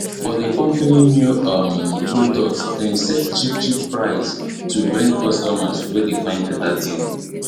for d company new um product dem set cheapcheap price to bring customers wey dey find better deal